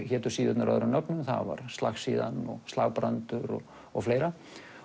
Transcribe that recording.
hétu síðurnar öðrum nöfnum slagsíðan og og fleira